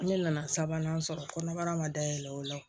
Ne nana sabanan sɔrɔ kɔnɔbara ma dayɛlɛn o la